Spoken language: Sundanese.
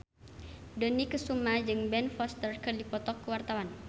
Dony Kesuma jeung Ben Foster keur dipoto ku wartawan